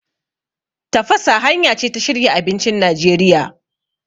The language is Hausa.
Tafasa hanya ce ta shirya abincin Najeriya.